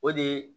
O de ye